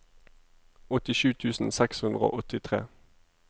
åttisju tusen seks hundre og åttitre